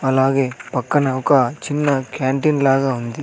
అలాగే పక్కన ఒక చిన్న క్యాంటీన్ లాగా ఉంది.